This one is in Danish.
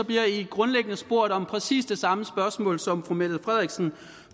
bliver i grundlæggende spurgt om præcis det samme spørgsmål som fru mette frederiksen